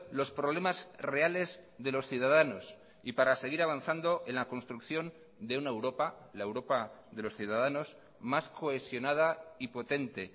los problemas reales de los ciudadanos y para seguir avanzando en la construcción de una europa la europa de los ciudadanos más cohesionada y potente